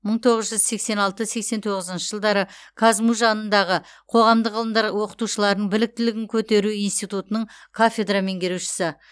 мың тоғыз жүз сексен алты сексен тоғызыншы жылдары қазму жанындағы қоғамдық ғылымдар оқытушыларының біліктілігін көтеру институтының кафедра меңгерушісі